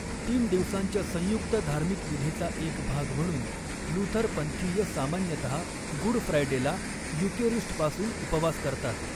तीन दिवसांच्या संयुक्त धार्मिक विधीचा एक भाग म्हणून, लुथर पंथीय सामान्यतः गुड फ्रायडेला युकेरिस्टपासून उपवास करतात.